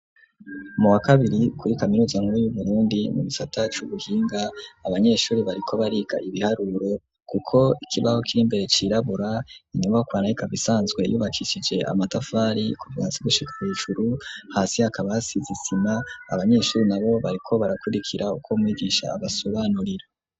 Mu wakabiri kuri kaminuza nkuru y'uburundi mu bisata c'ubuhinga abanyeshuri bariko bariga ibiharuro kuko ikibaho cirimbere cirabura inyobokwana rikabisanzwe yubakishije amatafari kuva hasi gushika hejuru hasi hakaba asize isima abanyeshuri nabo bariko barakurikira uko mwigisha abasobanurira.